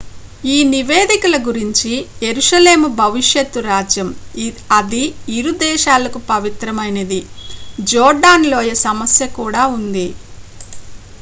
ఈ నివేదికల గురించి యెరూషలేము భవిష్యత్తు రాజ్యం అది ఇరు దేశాలకు పవిత్రమైనది జోర్డాన్ లోయ సమస్య కూడా ఉంది